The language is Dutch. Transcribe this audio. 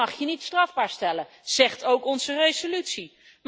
Dat mag je niet strafbaar stellen, dat zegt ook onze resolutie.